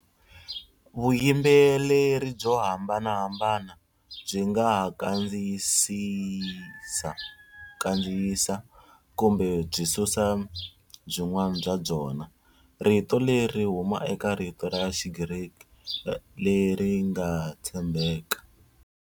Vuyimbeleri byo hambanahambana byi nga ha kandziyisa, kumbe byi susa byin'wana bya byona. Rito leri ri huma eka rito ra Xigriki leri nge tshembeka.